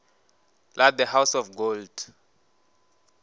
la the house of gold